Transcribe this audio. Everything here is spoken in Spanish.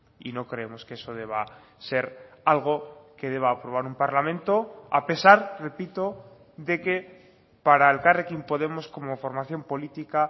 y no creemos que eso deba ser algo que deba aprobar un parlamento a pesar repito de que para elkarrekin podemos como formación política